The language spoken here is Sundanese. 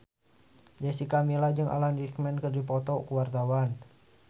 Jessica Milla jeung Alan Rickman keur dipoto ku wartawan